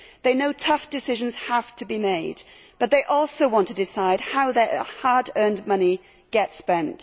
They know tough decisions have to be made, but they also want to decide how their hard earned money gets spent.